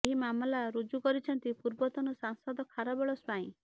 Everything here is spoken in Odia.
ଏହି ମାମଲା ରୁଜୁ କରିଛନ୍ତି ପୂର୍ବତନ ସାଂସଦ ଖାରବେଳ ସ୍ୱାଇଁ